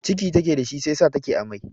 Ciki take da shi, shi yasa take amai.